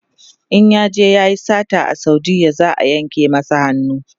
in yaje yayi sata a saudiya za'a yanka masa hannu